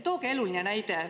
Tooge eluline näide.